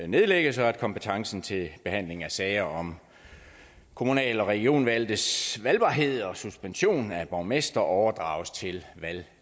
nedlægges og at kompetencen til behandling af sager om kommunal og regionvalgtes valgbarhed og suspension af borgmestre overdrages til